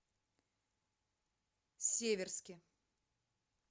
северске